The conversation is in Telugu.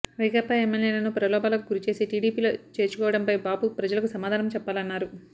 వైకాపా ఎమ్మెల్యేలను ప్రలోభాలకు గురి చేసి టిడిపిలో చేర్చుకోవడంపై బాబు ప్రజలకు సమాధానం చెప్పాలన్నారు